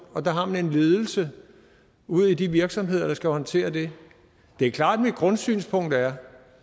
og der har man en ledelse ude i de virksomheder der skal håndtere det det er klart at mit grundsynspunkt er